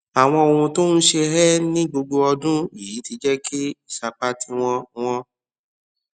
àwọn ohun tó ń ṣe é ní gbogbo ọdún yìí ti jẹ kí ìsapá tí wọn wọn